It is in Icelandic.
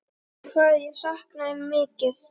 Hvað ég sakna þín mikið.